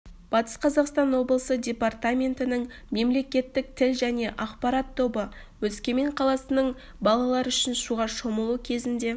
батыс қазақстан облысы департаментінің мемлекеттік тіл және ақпарат тобы өскемен қаласының балалар үшін суға шомылу кезінде